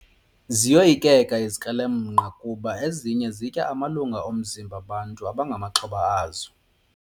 Ziyoyikeka izikrelemnqa kuba ezinye zitya amalunga omzimba bantu abangamaxhoba azo.